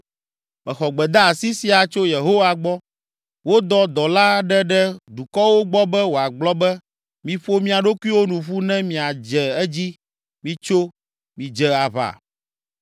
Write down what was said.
Mexɔ gbedeasi sia tso Yehowa gbɔ: Wodɔ dɔla aɖe ɖe dukɔwo gbɔ be wòagblɔ be, “Miƒo mia ɖokuiwo nu ƒu ne miadze edzi! Mitso, midze aʋa!”